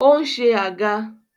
Ó ń se àga.